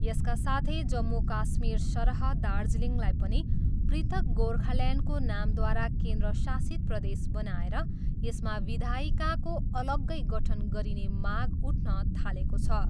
यसका साथै जम्मू काश्मीरसरह दार्जिलिङलाई पनि पृथक गोर्खाल्यान्डको नामद्वारा केन्द्रशासित प्रदेश बनाएर यसमा विधायिकाको अलग्गै गठन गरिने माग उठ्न थालेको छ।